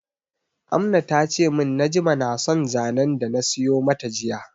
Amna tace min Najma na son zanen dana siyo mata jiya